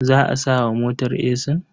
Za a sa wa motar esin?